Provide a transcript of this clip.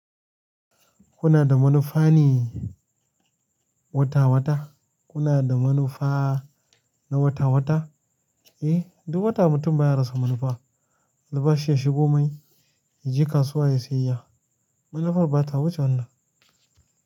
Kuna da manufa ne wata wata. Kuna da manufa na wata wata? Eh duk wata mutum bai rasa manufa. Albashi ya shigo mai, ya je kasuwa ya sayayya. Manufar ba ta wuce wannan.